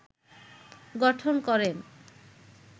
গঠন করেন